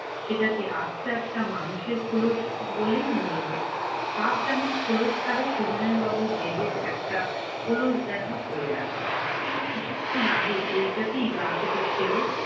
সেটাকে আস্ত একটা মানুষের খোলস বলেই মনে হয়। সাপ যেমন খোলস ছাড়ে সবিনয় বাবুর দেহের একটা খোলস যেন পরে আছে। তিনি কিছুক্ষণ আগে ওইটাকেই গা থেকে ছেড়ে-